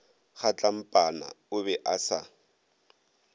kgatlampana o be a sa